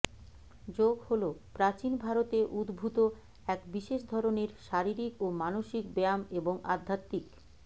যোগ হল প্রাচীন ভারতে উদ্ভূত এক বিশেষ ধরনের শারীরিক ও মানসিক ব্যায়াম এবং আধ্যাত্মিক